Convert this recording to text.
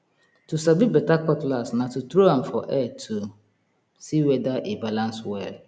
to sabi beta cutlass na to tro am for air to see weda e balans well